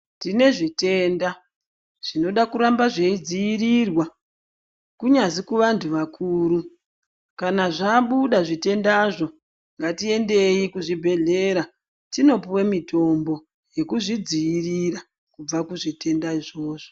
Tinezvitenda, zvinoda kuramba zveyidziyirirwa, kunyazvi kuvantu vakuru . Kana zvabuda zvitendazo, ngatiyendeyi kuzvibhedhlera tinopuwe mitombo yekuzvidziyirira kubva kuzvitenda izvozvo.